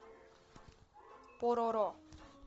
пороро